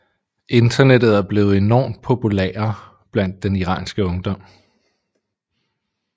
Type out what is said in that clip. Internettet er blevet enormt populære blandt den iranske ungdom